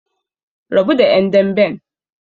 Rabu da ƴan damben!